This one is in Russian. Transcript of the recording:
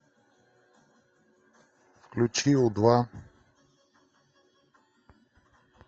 включи у два